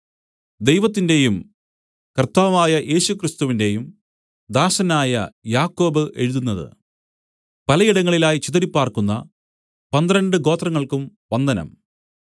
ദൈവത്തിന്റെയും കർത്താവായ യേശുക്രിസ്തുവിന്റെയും ദാസനായ യാക്കോബ് എഴുതുന്നത് പലയിടങ്ങളിലായി ചിതറിപ്പാർക്കുന്ന പന്ത്രണ്ട് ഗോത്രങ്ങൾക്കും വന്ദനം